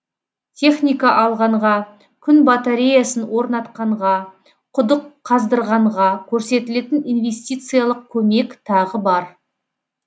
техника алғанға күн батареясын орнатқанға құдық қаздырғанға көрсетілетін инвестициялық көмек тағы бар